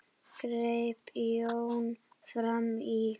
greip Jón fram í.